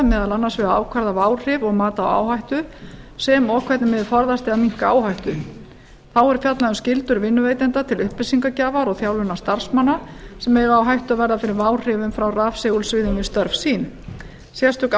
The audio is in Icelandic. meðal annars við að ákvarða váhrif og mat á áhættu sem og hvernig megi forðast eða minnka áhættu þá er fjallað um skyldu vinnuveitenda til upplýsingagjafar og þjálfunar starfsmanna sem eiga á hættu að verða fyrir váhrifum frá rafsegulsviðum við störf sín sérstök